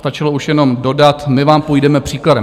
Stačilo už jenom dodat - my vám půjdeme příkladem.